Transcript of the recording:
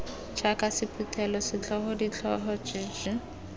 jaaka sephuthelo setlhogo ditlhogo jj